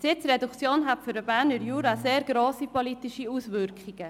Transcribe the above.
Eine Sitzreduktion hätte für den Berner Jura sehr grosse politische Auswirkungen.